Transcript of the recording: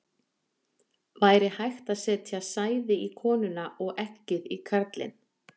væri hægt að setja sæði í konuna og eggið í karlinn